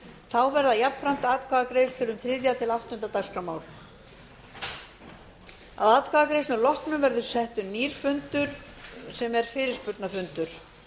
þá verða jafnframt atkvæðagreiðslur um þriðja til áttunda dagskrármál að atkvæðagreiðslur loknum verður settur nýr fundur sem er fyrirspurnafundur